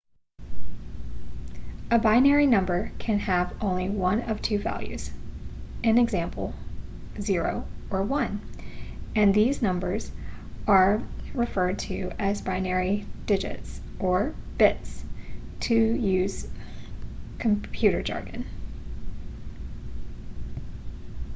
a binary number can have only one of two values i.e. 0 or 1 and these numbers are referred to as binary digits or bits to use computer jargon